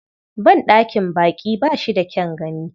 Banɗakin baƙi ba shi da kyan gani.